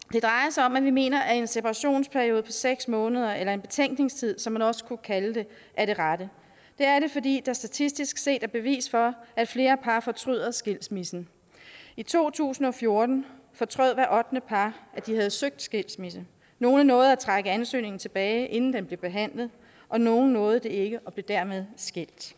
sig om at vi mener at en separationsperiode på seks måneder eller en betænkningstid som man også kunne kalde det er det rette det er det fordi der statistisk set er bevis for at flere par fortryder skilsmissen i to tusind og fjorten fortrød hvert ottende par at de havde søgt skilsmisse nogle nåede at trække ansøgningen tilbage inden den blev behandlet og nogle nåede det ikke og blev dermed skilt